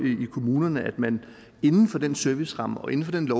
i kommunerne man inden for den serviceramme og inden for den